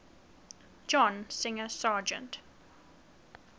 john singer sargent